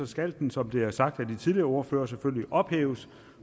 skal den som det er sagt af de tidligere ordførere selvfølgelig ophæves